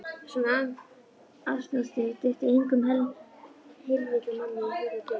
Svona asnastrik dytti engum heilvita manni í hug að gera.